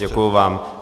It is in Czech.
Děkuji vám.